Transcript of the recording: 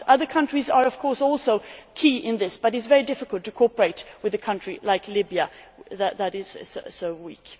to. Other countries are, of course, also key in this, but it is very difficult to cooperate with a country like Libya, which is so